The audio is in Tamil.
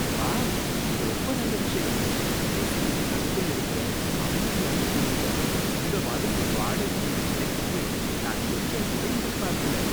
வாவ்! இது ரொம்ப நல்ல விஷயம், சென்னை சிட்டிக்கு நடுவுல இருக்குற அமைதியான தெருவுல இந்த மாதிரி ஒரு வாடகை வீடு கிடைக்கும்னு நான் கொஞ்சங்கூட எதிர்பார்க்கல.